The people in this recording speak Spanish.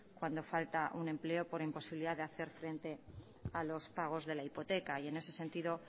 cuando falta un empleo por imposibilidad de hacer frente a los pagos de la hipoteca y en ese sentido